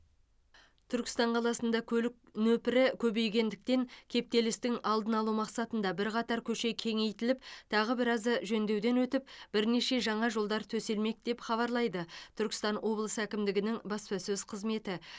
түркістан қаласында көлік нөпірі көбейгендіктен кептелістің алдын алу мақсатында бірқатар көше кеңейтіліп тағы біразы жөндеуден өтіп бірнеше жаңа жолдар төселмек деп хабарлайды түркістан облысы әкімдігінің баспасөз қызметі